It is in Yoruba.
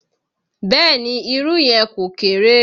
Bẹ́ẹ̀ ni, irú yẹn kò kéré.